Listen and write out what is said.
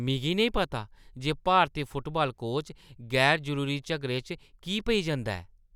मिगी नेईं पता जे भारती फुटबाल कोच गैर-जरूरी झगड़े च की पेई जंदा ऐ।